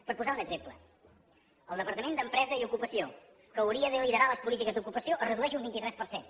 per posar un exemple el departament d’empresa i ocupació que hauria de liderar les polítiques d’ocupació es redueix un vint tres per cent